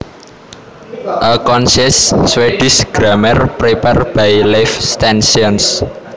A concise Swedish Grammar prepared by Leif Stensson